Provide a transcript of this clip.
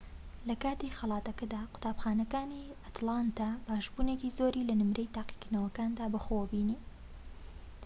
لەکاتی خەڵاتەکەدا قوتابخانەکانی ئەتلانتا باشبوونێکی زۆری لە نمرەی تاقیکردنەوەکاندا بەخۆوە بینی